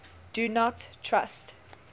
do not trust